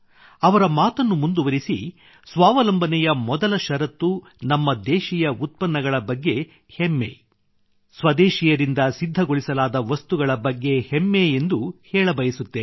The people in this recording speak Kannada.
ಅವರ ಮಾತನ್ನು ಮುಂದುವರಿಸಿ ಸ್ವಾವಲಂಬನೆಯ ಮೊದಲ ಶರತ್ತು ನಮ್ಮ ದೇಶೀಯ ಉತ್ಪನ್ನಗಳ ಬಗ್ಗೆ ಹೆಮ್ಮೆ ಸ್ವದೇಶಿಯರಿಂದ ಸಿದ್ಧಗೊಳಿಸಲಾದ ವಸ್ತುಗಳ ಬಗ್ಗೆ ಹೆಮ್ಮೆ ಎಂದು ಹೇಳಬಯಸುತ್ತೇನೆ